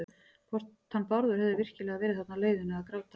Hvort hann Bárður hefði virkilega verið þarna á leiðinu að gráta.